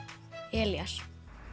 Elías